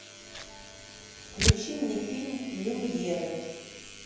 включи мне фильм люмьеры